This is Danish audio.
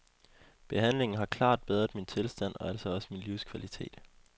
Behandlingen har klart bedret min tilstand og altså også min livskvalitet.